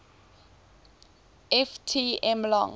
ft m long